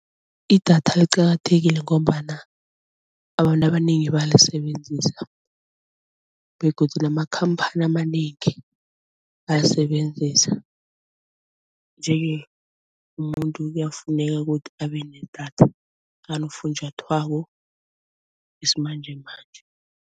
Idatha liqakathekile ngombana abantu abanengi balisebenzisa begodu namakhamphani amanengi ayasebenzisa nje-ke umuntu kuyafuneka ukuthi abe nedatha nakanofunjathwako wesimanjemanje.